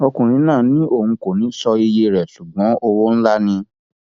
ọkùnrin náà ni òun kò ní í sọ iye rẹ ṣùgbọn owó ńlá ni